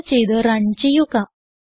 save ചെയ്ത് run ചെയ്യുക